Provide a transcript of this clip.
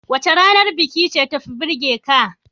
Wace ranar biki ce tafi burgeka?